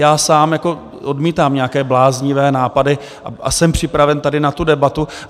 Já sám odmítám nějaké bláznivé nápady a jsem připraven tady na tu debatu.